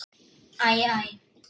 Æ. æ.